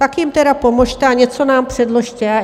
Tak jim tedy pomozte a něco nám předložte!